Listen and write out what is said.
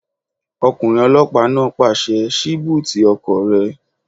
Ọkùnrin ọlọ́pàá náà pàṣẹ "ṣí búùtì ọkọ̀ rẹ!"